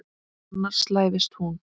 Annars slævist hún.